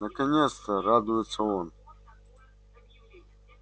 наконец-то радуется он